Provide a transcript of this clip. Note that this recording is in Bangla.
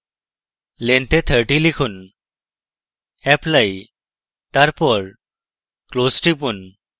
length এ 30 লিখুন apply এবং close টিপুন